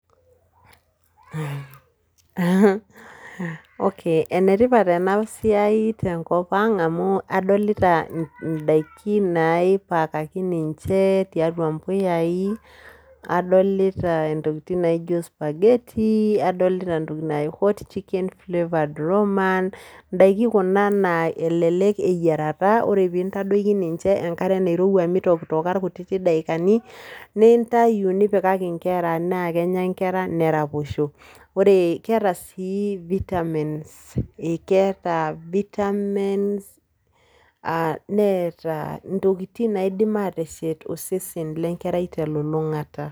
Okay, enetipat enasiai tenkop ang amu adolita idaiki naipaakaki ninche tiatua mpuyai, adolita intokiting naijo spaghetti, adolita ntokiting naji hot chicken flavoured roman, idaikin kuna naa elelek eyiara ore pintadoki ninche enkare nairowua mitokitoka irkutiti daikani, nintayu nipikaki nkera, naa kenya nkera neraposho. Ore kiata si vitamins. Ekeeta vitamins, neeta intokiting naidim ateshet osesen lenkerai telulung'ata.